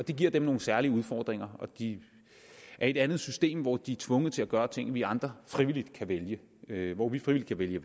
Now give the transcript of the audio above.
det giver dem nogle særlige udfordringer og de er i et andet system hvor de er tvunget til at gøre ting vi andre frivilligt kan vælge vælge hvor vi frivilligt kan vælge